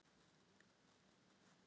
Hann var fölur og hljóðlátur.